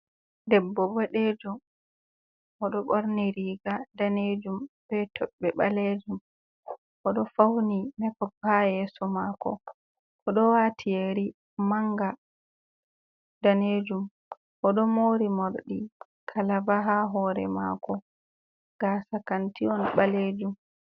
Debbo bodejum oɗo ɓorni riga danejum be toɓɓe ɓalejum. Oɗo fauni mekop ha yeso mako, oɗo waati yeri manga danejum, oɗo mori morɗi kalaba ha hore mako, gasa kanti on ɓalejum.